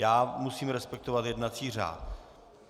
Já musím respektovat jednací řád.